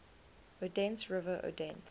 odense river odense